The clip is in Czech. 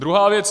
Druhá věc.